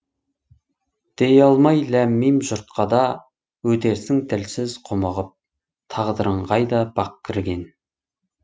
дей алмай ләм мим жұртқа да өтерсің тілсіз құмығып тағдырың қайда бақ кірген